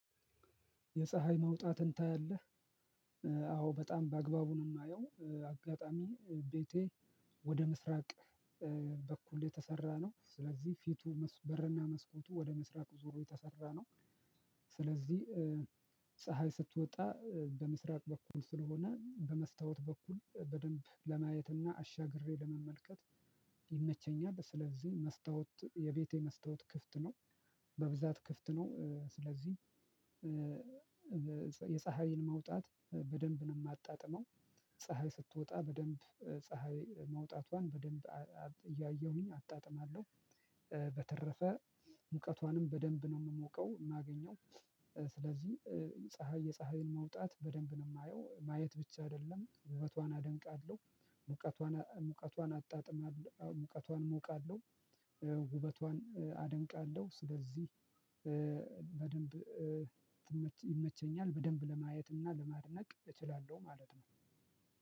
የፀሀይ መውጣትን ታያለህ? አዎ በጣም በአግባቡ ነው የማየው። አጋጣሚ ቤቴ ወደ ምስራቅ በኩል የተሰራ ነው። ስለዚህ ፊቱ በርና መስኮቱ ወደ ምስራቅ ዞሮ የተሰራ ነው። ስለዚህ ፀሀይ ስትወጣ በምስራቅ በኩል ስለሆነ በመስታወት በኩል በደንብ ለማየትና አሻግሬ ለመመልከት ይመቸኛል። ስለዚህ መስታወት የቤቴ መስታወት ክፍት ነው። በብዛት ክፍት ነው። ስለዚህ የፀሀይን መውጣት በደንብ ነው የማጣጥመው። ፀሀይ ስትወጣ በደንብ ፀሀይ መውጣቷን በደንብ እያየሁኝ አጣጥማለሁ። በተረፈ ሙቀቷንም በደንብ ነው የምሞቀ፣ የማገኘው። ስለዚህ ፀሀይ የፀሀይን መውጣት በደንብ ነው የማየው። ማየት ብቻ አይደለም ውበቷን አደንቃለሁ። ሙቀቷን አጣጥማለሁ። ሙቀቷን እሞቃለሁ፣ ውበቷን አደንቃለሁ። ስለዚህ በደንብ ይመቸኛል። በደንብ ለማየት እና ለማድነቅ እችላለሁ ማለት ነው።